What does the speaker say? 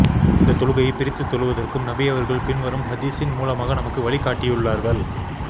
இந்த தொழுகையை பிரித்து தொழுவதற்கும் நபியவர்கள் பின் வரும் ஹதீஸின் மூலமாக நமக்கு வழிக் காட்டியுள்ளார்கள்